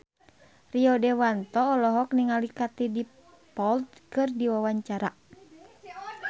Rio Dewanto olohok ningali Katie Dippold keur diwawancara